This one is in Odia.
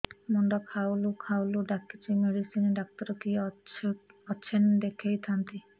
ମୁଣ୍ଡ ଖାଉଲ୍ ଖାଉଲ୍ ଡାକୁଚି ମେଡିସିନ ଡାକ୍ତର କିଏ ଅଛନ୍ ଦେଖେଇ ଥାନ୍ତି